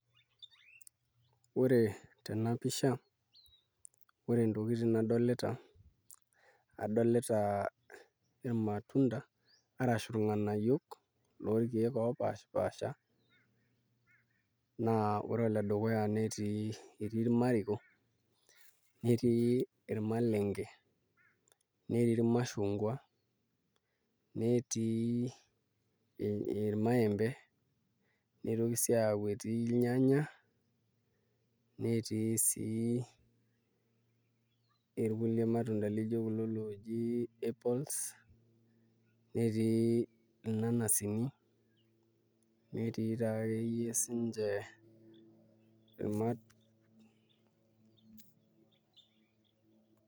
Ore tena pisha ore ntokitin nadolita adolita irmatunda arashu ing'anayio lorkeek oopaashipaasha naa ore ole dukuya netii irmariko netii irmalenge natii irmashungwa netii irmaembe nitoki sii aaku etii irnyanya netii sii irkulie matunda lijio kulo looji apples netii irnanasini netii taake iyie siinche.